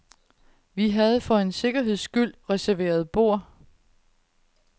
Vi havde for en sikkerheds skyld reserveret bord.